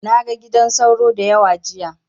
Na ga gidan sauro da yawa jiya.